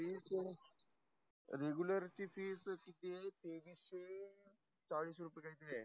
Regular fee किती आहे तेवीस शे चालीस रुपया काही तरी आहे.